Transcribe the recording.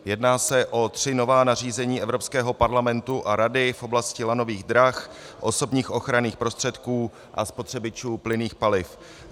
Jedná se o tři nová nařízení Evropského parlamentu a Rady v oblasti lanových drah, osobních ochranných prostředků a spotřebičů plynných paliv.